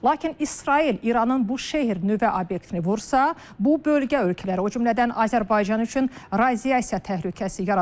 Lakin İsrail İranın bu şeer nüvə obyektini vursa, bu bölgə ölkələri, o cümlədən Azərbaycan üçün radiasiya təhlükəsi yarada bilər.